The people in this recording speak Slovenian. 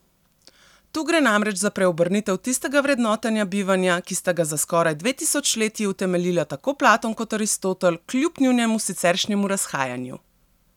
Tu gre namreč za preobrnitev tistega vrednotenja bivanja, ki sta ga za skoraj dve tisočletji utemeljila tako Platon kot Aristotel, kljub njunemu siceršnjemu razhajanju.